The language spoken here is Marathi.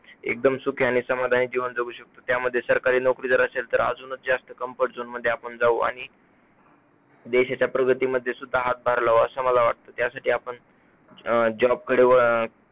एकदम सुखी आणि समाधानी जीवन जगू शकतो त्यामध्ये सरकारी नोकरी जर असेल तर अजूनच जास्त comfort zone मध्ये आपण जाऊ आणि देशाचा प्रगतीमध्ये सुद्धा हातभार लावू असं मला वाटतं, त्यासाठी आपण अं job कडे व अं